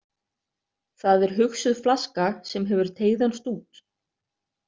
Það er hugsuð flaska, sem hefur teygðan stút.